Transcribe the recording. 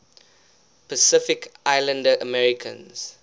pacific islander americans